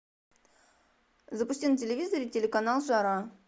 запусти на телевизоре телеканал жара